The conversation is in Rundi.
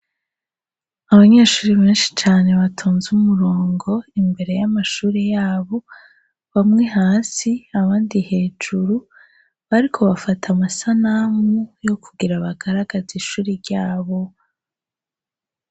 Abanyeshuri benshi cane batonze umurongo imbere y'amashuri yabo, bamwe hasi abandi hejuru bariko bafate amasanamu yo kugira abagaragazi ishuri ryabo.